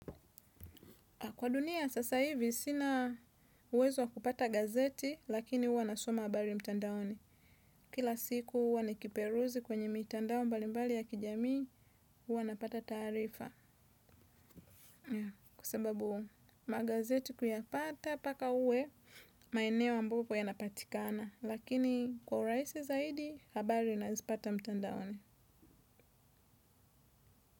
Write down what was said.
Kwa dunia, sasa hivi, sina uwezo wa kupata gazeti, lakini uwa nasoma habari mtandaoni. Kila siku uwa ni kiperuzi kwenye mtandao mbali mbali ya kijamii, uwa napata tarifa. Kwa sababu magazeti kuyapata, paka uwe, maeneo ambapo yanapatikana. Lakini kwa uraisi zaidi, habari nazipata mtandaoni.